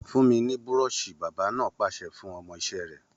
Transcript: Fún mi ní búrọ́ọ̀ṣì!, bábà náà pàṣẹ fún ọmọ iṣẹ́ rẹ̀